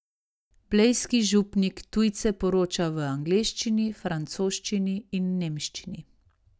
Blejski župnik tujce poroča v angleščini, francoščini in nemščini.